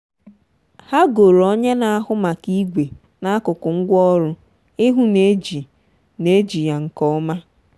ha goro onye na-ahụ maka igwe n'akuku ngwa ọru ihụ na e ji na e ji ya nke ọma.